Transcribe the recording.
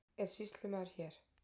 Er sýslumaður hér?